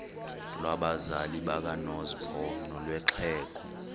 lwabazali bakanozpho nolwexhego